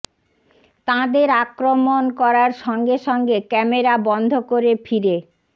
তাঁদের আক্রমণ করার সঙ্গে সঙ্গে ক্যামেরা বন্ধ করে ফিরে